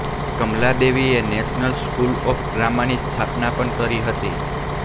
કમલાદેવીએ national school of ડ્રામાની સ્થાપના પણ કરી હતી